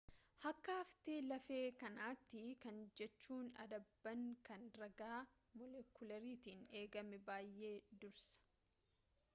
akka haftee-lafee kanaatti kana jechuun addabaan kan ragaa moolekularraatiin eegame baay'ee dursa